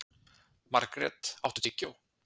Margret, áttu tyggjó?